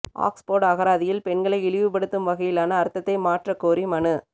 Oxford அகராதியில் பெண்களை இழிவுப்படுத்தும் வகையிலான அர்த்தத்தை மாற்றக் கோரி மனு